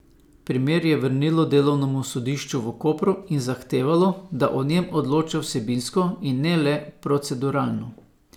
Primer je vrnilo delovnemu sodišču v Kopru in zahtevalo, da o njem odloča vsebinsko, in ne le proceduralno.